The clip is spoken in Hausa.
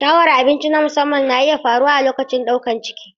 Sha'awar abinci na musamman na iya faruwa a lokacin ɗaukar ciki.